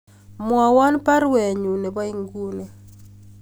Mwowon baruenyun nebo inguni